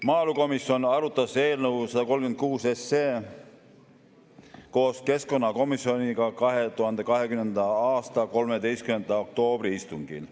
Maaelukomisjon arutas eelnõu 136 koos keskkonnakomisjoniga 2020. aasta 13. oktoobri istungil.